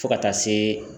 Fo ka taa se